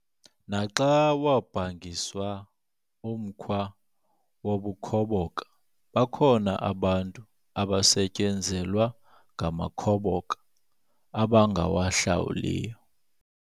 Naxa wabhangiswa umkhwa wobukhoboka bakhona abantu abasetyenzelwa ngamakhoboka abangawahlawuliyo.